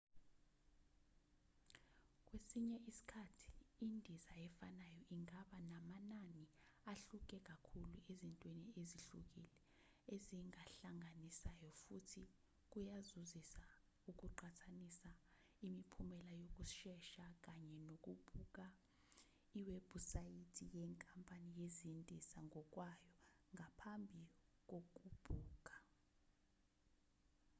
kwesinye isikhathi indiza efanayo ingaba namanani ahluke kakhulu ezintweni ezihlukile ezihlanganisayo futhi kuyazuzisa ukuqhathanisa imiphumela yokusesha kanye nokubuka iwebhusayithi yenkampani yezindiza ngokwayo ngaphambi kokubhukha